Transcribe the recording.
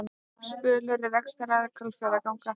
Spölur er rekstraraðili Hvalfjarðarganga